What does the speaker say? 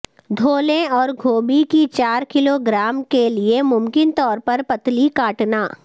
دھو لیں اور گوبھی کی چار کلو گرام کے لئے ممکن طور پر پتلی کاٹنا